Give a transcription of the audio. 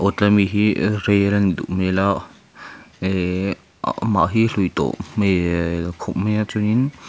aw tlai ami hi rail a nih duh hmel a ehh amah hi a hlui tawh hmelll khawp mai a chuanin--